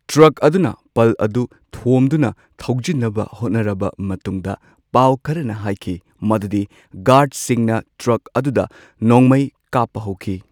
Truck ꯑꯗꯨꯅ ꯄꯜ ꯑꯗꯨ ꯊꯣꯝꯗꯨꯅ ꯊꯧꯖꯤꯟꯅꯕ ꯍꯣꯠꯅꯔꯕ ꯃꯇꯨꯡꯗ, ꯄꯥꯎ ꯈꯔꯅ ꯍꯥꯏꯈꯤ ꯃꯗꯨꯗꯤ ꯒꯥꯔ꯭ꯗꯁꯤꯡꯅ ꯇ꯭ꯔꯛ ꯑꯗꯨꯗ ꯅꯣꯡꯃꯩ ꯀꯥꯞꯄ ꯍꯧꯈꯤ꯫